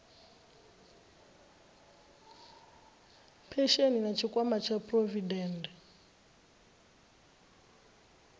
phesheni na tshikwama tsha phurovidende